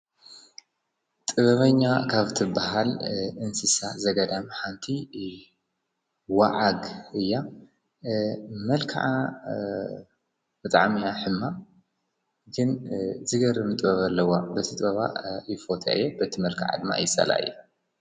ጥበበኛ ካብ ትብሃል እንስሳት ዘገዳም ሓንቲ ወዓግ እያ መልክዓ ብጣዕሚ እያ ሕማቕ ግን ዝገርም ጥበብ ኣለዋ በቲ ጥበባ ይፎትያ እየ በቲ መልክዓ ድማ ይፀልኣ እየ